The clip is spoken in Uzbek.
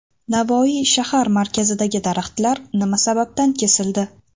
Navoiy shahar markazidagi daraxtlar nima sababdan kesildi?.